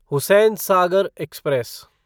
Hussain Sagar express